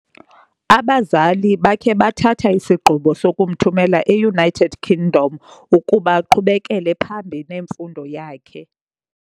abazali bakhe bathatha isigqibo sokumthumela eUnited Kingdom ukuba aqhubekele phambi nemfundo yakhe.